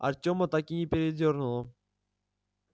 артема так и передёрнуло